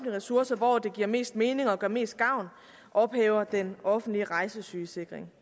ressourcer hvor det giver mest mening og gør mest gavn ophæver den offentlige rejsesygesikring